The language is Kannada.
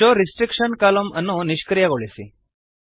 ಶೋವ್ ರೆಸ್ಟ್ರಿಕ್ಷನ್ ಕಾಲಮ್ನ್ಸ್ ಅನ್ನು ನಿಷ್ಕ್ರಿಯಗೊಳಿಸಿ